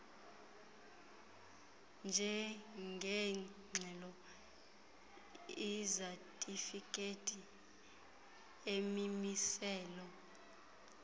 njengeengxelo izatifikhethi imimiselo